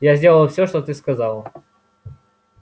я сделаю все что ты сказала